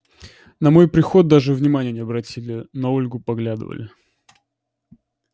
на мой приход даже внимания не обратили на ольгу поглядывали